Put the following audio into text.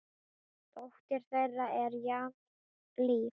Dóttir þeirra er Jasmín Líf.